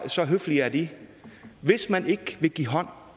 så høflige er de hvis man ikke vil give hånd